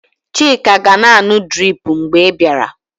Chika ga-na anụ drip mgbe ị bịara.